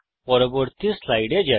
পরবর্তী স্লাইডে যাই